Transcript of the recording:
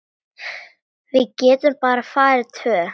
Við getum bara farið tvö.